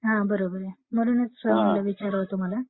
हं हं बरोबर आहे म्ह्णून मी विचारात होते तुम्हाला.